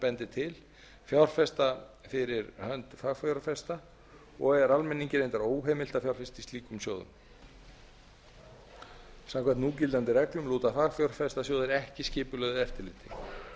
bendir til fjárfesta fyrir hönd fagfjárfesta og er almenningi reyndar óheimilt að fjárfesta í slíkum sjóðum samkvæmt núgildandi reglum lúta fagfjárfestasjóðir ekki skipulögðu eftirliti